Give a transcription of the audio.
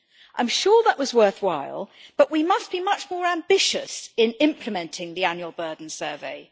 I am sure that was worthwhile but we must be much more ambitious in implementing the annual burden survey.